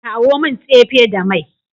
Kawo min tsefe da mai.